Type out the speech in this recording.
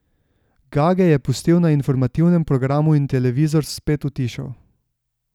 Gage je pustil na informativnem programu in televizor spet utišal.